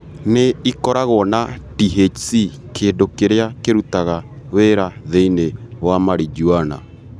Nĩ ĩkoragũo na THC, kĩndũ kĩrĩa kĩrutaga wĩra thĩinĩ wa Marijuana.